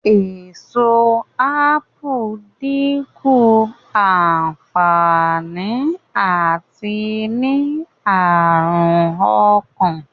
Èso ápù dínkù ànfàní àti ní àrùn ọkàn